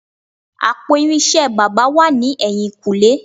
Àpò irinṣẹ́ baba wà ní ẹ̀yìn-kùlé